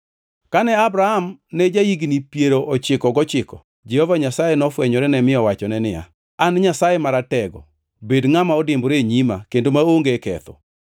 Kane Abram ne ja-higni piero ochiko gochiko, Jehova Nyasaye nofwenyorene mi nowachone niya, “An Nyasaye Maratego; bed ngʼama odimbore e nyima kendo maonge ketho.